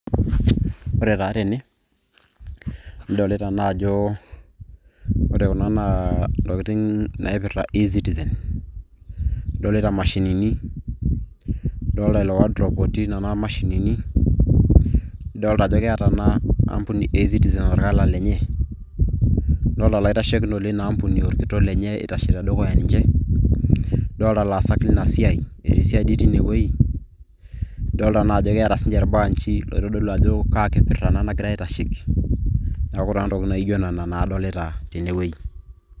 ore naa tene, nidolita ajo intokitin naaipirta ecitizen ,idolita imashinini, idolita ilo wardrobe otii nena mashinini. idolta ajo keeta naa, inaa ambuni ecitizen orkala lenye, idoolta ilaitashekinok leina ampuni orkitok lenye, eitashe tedukuya ninche, idoolta ilaasak leina siai etii siadi teine wueji. idoolta naa ajo keeta sii ninche ilbaanji oitodlu ajo, kaakipirta ena nagirae aaetasheki, neeku naa intokitin naijo nena adolita tenewueji.